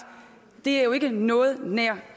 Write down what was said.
jo ikke er noget nær